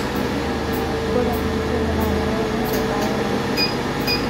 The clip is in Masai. Ore jukumu naa kenare neitabaya obo